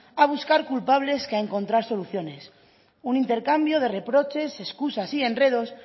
a buscar culpables que a encontrar soluciones un intercambio de reproches excusas y enredos